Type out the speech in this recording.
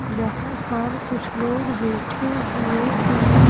जहां पर कुछ लोग बैठे हुए हैं।